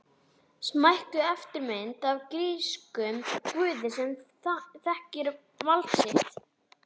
Smækkuð eftirmynd af grískum guði sem þekkir vald sitt.